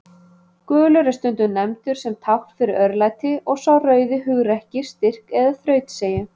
Gulur er stundum nefndur sem tákn fyrir örlæti og sá rauði hugrekki, styrk eða þrautseigju.